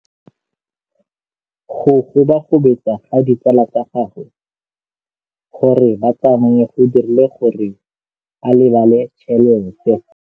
Go gobagobetsa ga ditsala tsa gagwe, gore ba tsamaye go dirile gore a lebale tšhelete.